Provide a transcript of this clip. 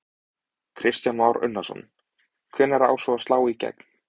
Kristján Már Unnarsson: Hvenær á svo að slá í gegn?